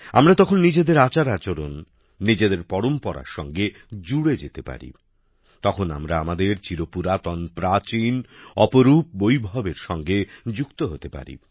আমরা তখন নিজেদের আচারআচরণ নিজেদের পরম্পরার সঙ্গে জুড়ে যেতে পারি তখন আমরা আমাদের চির পুরাতন প্রাচীন অপরুপ বৈভবের সঙ্গে যুক্ত হতে পারি